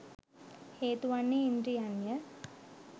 හේතුවන්නේ ඉන්ද්‍රියන්ය.